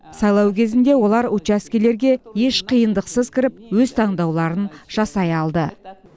сайлау кезінде олар учаскелерге еш қиындықсыз кіріп өз таңдауларын жасай алды